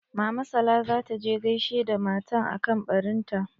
Mama sala za ta je gaishe da matan akan ɓarin ta.